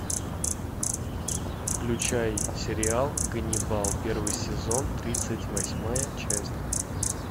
включай сериал ганнибал первый сезон тридцать восьмая часть